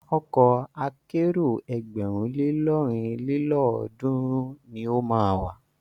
Ọkọ̀ akẹ́rò ẹgbẹ̀rún le lọ́rin lélọ́ọ̀dúnrún ni o máa wà.